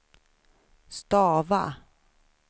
stava